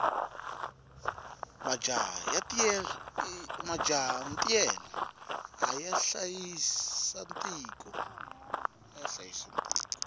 majaha ntiyela aya hlayisa tiko